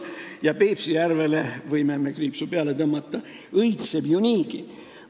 Ja Peipsi järvele võime kriipsu peale tõmmata – see õitseb ju niigi.